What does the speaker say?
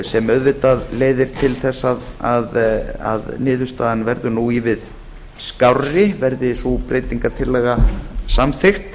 sem auðvitað leiðir til þess að niðurstaðan verður ívið skárri verði sú breytingartillaga samþykkt